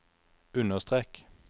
understrek